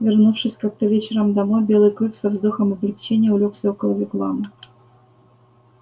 вернувшись как то вечером домой белый клык со вздохом облегчения улёгся около вигвама